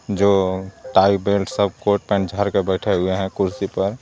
जो tie belt सब coat pant जार के बैठे हुए हैं कुर्सी पर.